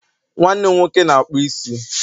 nwannem nwoke n'akpu isi